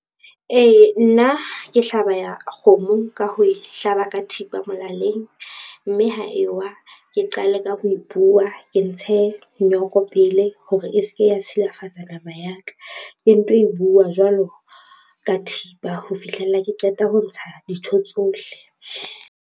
Ee, nna ke hlaba ya ka kgomo ka ho e hlaba ka thipa molaleng, mme ha ewa ke qale ka ho e buwa ke ntshe nyoko pele hore e se ke ya silafatsa nama ya ka. Ke nto e buwa jwalo ka thipa ho fihlella ke qeta ho ntsha dintho tsohle.